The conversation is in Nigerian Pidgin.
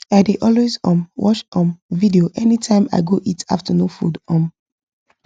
i dey always um watch um video anytime i go eat afternoon food um